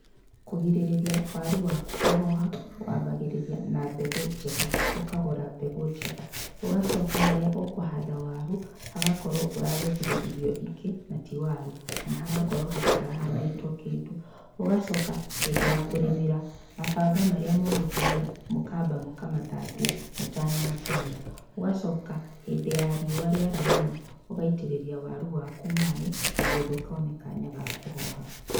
Kũgirĩria waru waku kũhoha, wambagĩrĩria na mbegũ njega, ũkagũra mbegũ njega, ũgacoka harĩa ũkũhanda waru hagakorwo ũragethire irio ingĩ na ti waru kana hagakorwo hatira handĩtwo kĩndũ. Ugacoka hĩndĩ ya kũrĩmĩra mabanga marĩa mũgũtũmĩra mũkamba mũkamathabia mũtanamatũmĩra ũgacoka hĩndĩ ta riũa rĩara mũno ũgaitĩrĩria waru waku maĩ nĩguo ndũkone kanya gakũhoha.